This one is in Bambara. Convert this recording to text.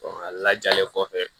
a lajalen kɔfɛ